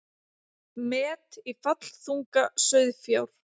Met í fallþunga sauðfjár